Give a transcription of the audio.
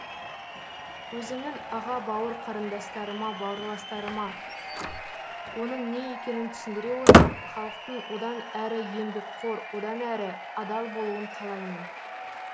өзімнің аға бауыр қарындастарыма баурластарыма оның не екенін түсіндіре отырып халықтың одан әрі еңбекқор одан әрі адал болуын қалаймын